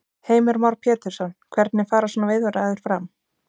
Heimir Már Pétursson: Hvernig fara svona viðræður fram?